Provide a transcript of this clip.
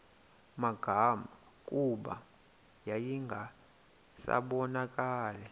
magama kuba yayingasabonakali